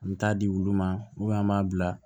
An bɛ taa di olu ma an b'a bila